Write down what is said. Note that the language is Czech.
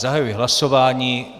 Zahajuji hlasování.